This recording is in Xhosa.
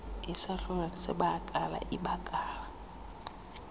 isahlulo sebakala ibakala